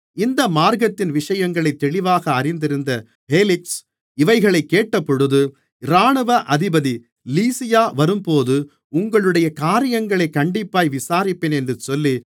இந்த மார்க்கத்தின் விஷயங்களை தெளிவாக அறிந்திருந்த பேலிக்ஸ் இவைகளைக் கேட்டபொழுது இராணுவ அதிபதி லீசியா வரும்போது உங்களுடைய காரியங்களைக் கண்டிப்பாய் விசாரிப்பேன் என்று சொல்லி